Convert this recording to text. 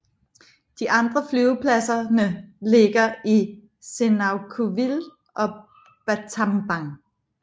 De andre flyvepladserne ligger i Sihanoukville og Battambang